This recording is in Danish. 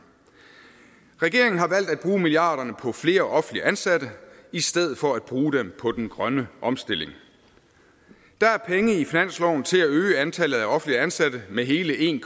regeringen har valgt at bruge milliarderne på flere offentligt ansatte i stedet for bruge dem på den grønne omstilling der er penge i finansloven til at øge antallet af offentligt ansatte med hele en